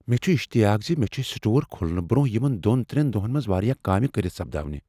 مےٚ چُھ اشتعیاق ز مےٚ چھےٚ سٹور کُھلنہٕ برٛۄنٛہہ یمن دۄن ترین دۄہن منٛز واریاہ کٲمہِ کٔرتھ سپداوٕنہ۔